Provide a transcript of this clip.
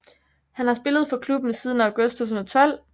Han har spillet for klubben siden august 2012